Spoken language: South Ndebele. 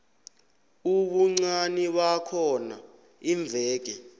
ubuncani bakhona iimveke